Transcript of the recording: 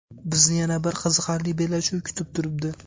Bizni yana bir qiziqarli bellashuv kutib turibdi.